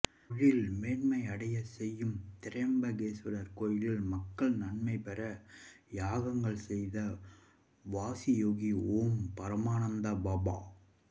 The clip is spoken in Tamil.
தொழில் மேன்மை அடைய செய்யும் திரிம்பகேஸ்வரர் கோயிலில் மக்கள் நன்மை பெற யாகங்கள் செய்த வாசியோகி ஓம் பரமானந்த பாபா